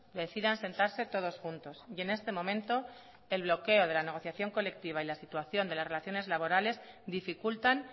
decidan sentarse todos juntos y en este momento el bloqueo de la negociación colectiva y la situación de las relaciones laborales dificultan